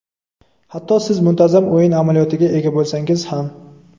hatto siz muntazam o‘yin amaliyotiga ega bo‘lsangiz ham.